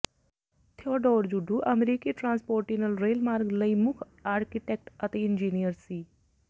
Theodore Judah ਅਮਰੀਕੀ transcontinental ਰੇਲਮਾਰਗ ਲਈ ਮੁੱਖ ਆਰਕੀਟੈਕਟ ਅਤੇ ਇੰਜੀਨੀਅਰ ਸੀ